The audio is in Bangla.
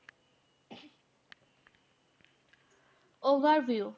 Overview